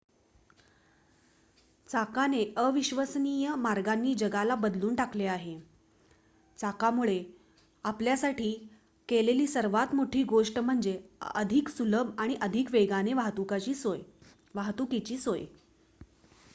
चाकाने अविश्वसनीय मार्गांनी जगाला बदलून टाकले आहे चाकामुळे आपल्यासाठी केलेली सर्वात मोठी गोष्ट म्हणजे अधिक सुलभ आणि अधिक वेगाने वाहतुकीची सोय